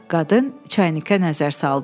Qadın çaynikə nəzər saldı.